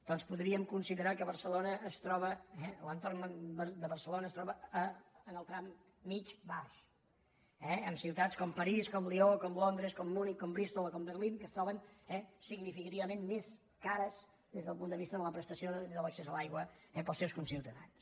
doncs podríem considerar que barcelona es troba l’entorn de barcelona es troba en el tram mitjà baix eh amb ciutats com parís com lió com londres com munic com bristol o com berlin que es troben significativament més cares des del punt de vista de la prestació de l’accés a l’aigua pels seus conciutadans